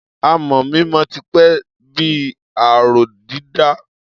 Amọ̀ mímọ ti pẹ́ bí i aró dídà.